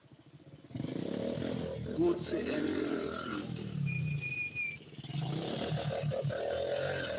kutsi ente lokutsite